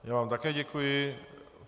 Já vám taky děkuji.